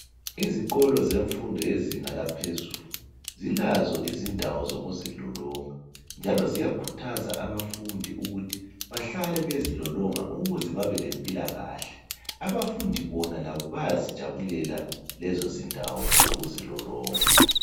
Izikolo zemfundo yezinga laphezulu zilazo izindawo zokuzilolonga njalo ziyakhuthaza abafundi ukuthi bahlale bezilolonga ukuze babe lempilakahle. Abafundi bona bayazi jabulela lezo ndawo zokuzilolonga.